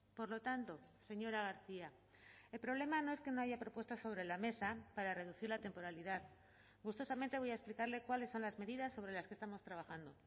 por lo tanto señora garcia el problema no es que no haya propuestas sobre la mesa para reducir la temporalidad gustosamente voy a explicarle cuáles son las medidas sobre las que estamos trabajando